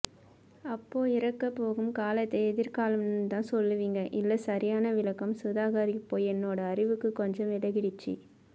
அப்போஇறக்க போகும் காலத்தை எதிர்காலம்ன்னுதான் சொல்லுவீங்க இல்ல சரியான விளக்கம் சுதாகர் இப்போ என்னோட அறிவுக்கு கொஞ்சம் விளங்கிடுச்சு